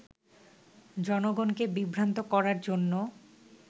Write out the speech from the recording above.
জনগণকে বিভ্রান্ত করার জন্য